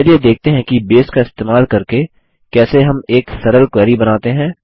चलिए देखते हैं कि बेस का इस्तेमाल करके कैसे हम एक सरल क्वेरी बनाते हैं